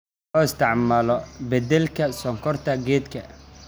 Loo isticmaalo beddelka sonkorta keega.